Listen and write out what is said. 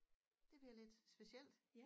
Det bliver lidt specielt